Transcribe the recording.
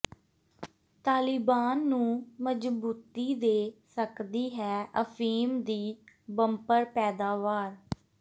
ਤਾਲਿਬਾਨ ਨੂੰ ਮਜ਼ਬੂਤੀ ਦੇ ਸਕਦੀ ਹੈ ਅਫ਼ੀਮ ਦੀ ਬੰਪਰ ਪੈਦਾਵਾਰ